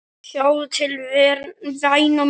Sjáðu til væna mín.